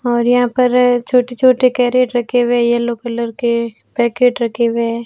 और यहां पर छोटे छोटे कैरेट रखे हुए येलो कलर के पैकेट रखे हुए है।